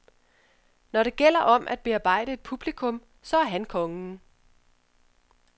Når det gælder om at bearbejde et publikum, så er han kongen.